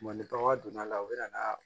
Ni bagan donna la u bɛ na